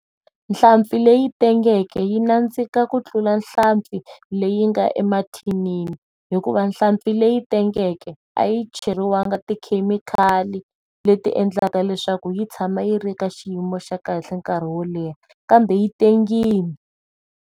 Nhlampfi leyi tengeke yi nandzika ku tlula nhlampfi leyi nga emathini hikuva nhlampfi leyi tengeke a yi cheriwangi tikhemikhali leti endlaka leswaku yi tshama yi ri ka xiyimo xa kahle nkarhi wo leha kambe yi tengile.